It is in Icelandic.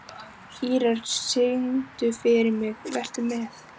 Ýrar, syngdu fyrir mig „Vertu með“.